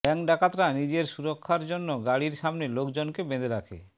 bank ডাকাতরা নিজের সুরক্ষার জন্য গাড়ির সামনে লোকজন কে বেঁধে রাখে